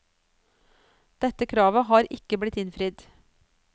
Dette kravet har ikke blitt innfridd.